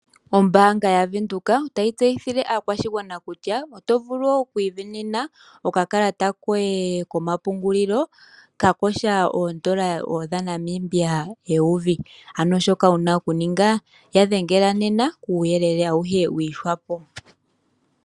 Ombanga yaVenduka otayi tseyithile aakwashigwana kutya oto vulu oku isindanena okakalata koye komapungulilo ka kosha oondola dhaNamibia eyovi, shoka wuna okuninga ya dhengela nena kuuyelele awuhe wiihwapo.